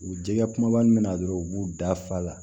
U jɛgɛ kumaba min bɛna dɔrɔn u b'u da fa la